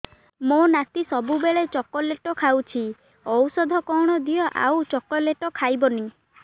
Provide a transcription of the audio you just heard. ମୋ ନାତି ସବୁବେଳେ ଚକଲେଟ ଖାଉଛି ଔଷଧ କଣ ଦିଅ ଆଉ ଚକଲେଟ ଖାଇବନି